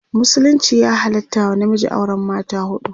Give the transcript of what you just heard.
musulunci ya halatta wa namiji auran mata huɗu